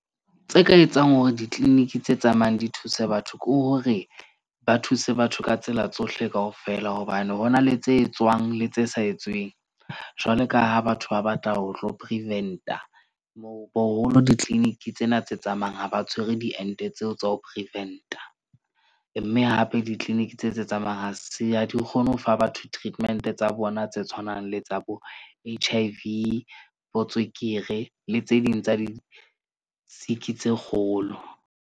Tse ka etsang hore di-clinic tse tsamayang di thuse, batho ke hore ba thuse batho ka tsela tsohle kaofela. Hobane ho na le tse etswang le tse sa etsweng. Jwalo ka ha batho ba batla ho tlo prevent-a mo boholo di- clinic tsena tse tsamayang ha ba tshwere diente tseo tsa ho prevent-a. Mme hape di-clinic tse tse tsamayang ha di kgone ho fa batho treatment-e tsa bona tse tshwanang le tsa bo H_I_V botswekere le tse ding tsa di-sick-i tse kgolo.